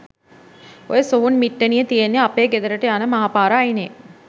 ඔය සොහොන් පිට්ටනිය තියෙන්නේ අපේ ගෙදරට යන මහ පාර අයිනේ.